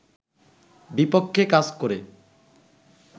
বিপক্ষে কাজ করে